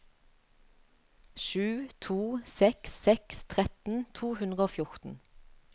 sju to seks seks tretten to hundre og fjorten